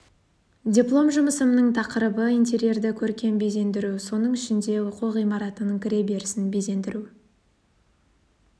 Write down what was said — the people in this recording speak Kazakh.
диплом жұмысымның тақырыбы интерерді көркем безендіру соның ішінде оқу ғимаратының кіре берісін безендіру